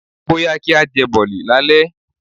Bóyá kí á jẹ Bọ̀lì lálẹ́.